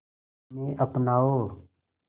इन्हें अपनाओ